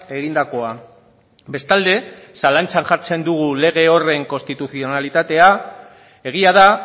egindakoa bestalde zalantzan jartzen dugu lege horren konstituzionalitatea egia da